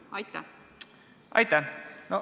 Aitäh!